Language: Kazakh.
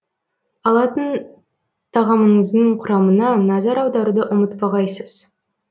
алатын тағамыңыздың құрамына назар аударуды ұмытпағайсыз